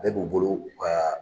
Bɛɛ b'u bolo, u ka